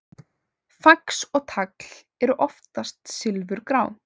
Fax og tagl eru oftast silfurgrá.